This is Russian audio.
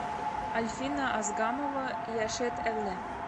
альфина азгамова яшэт эле